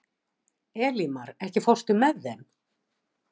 Elímar, ekki fórstu með þeim?